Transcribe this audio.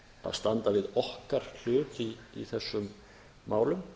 standa við okkar hlut í þessum málum